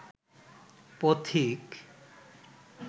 পথিক